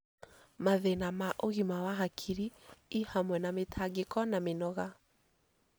Mathĩna ma ũgima wa hakiri, i hamwe na mĩtangĩko na mĩnoga.